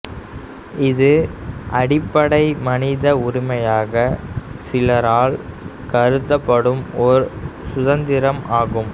இது அடிப்படை மனித உரிமையாக சிலரால் கருதப்படும் ஒரு சுதந்திரம் ஆகும்